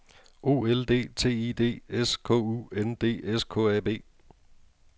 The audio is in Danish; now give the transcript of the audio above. O L D T I D S K U N D S K A B